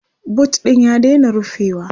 boot ɗin ya daina rufewa